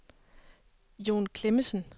Jon Klemmensen